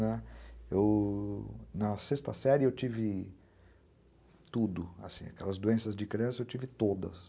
eu... na sexta série eu tive tudo, aquelas doenças de criança eu tive todas.